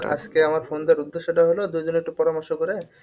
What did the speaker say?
আজকে আমার phone দেওয়ার উদেশ্যটা হলো দুজনে একটু পরার্মশ করে